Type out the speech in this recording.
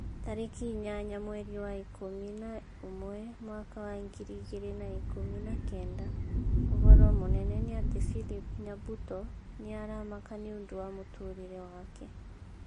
Tarĩki inyanya mweri wa ikũmi na ũmwe mwaka wa ngiri igĩrĩ na ikũmi na kenda ũhoro mũnene nĩ ati philip nyabuto nĩ aramaka nĩũndũ wa mũtũrĩre wake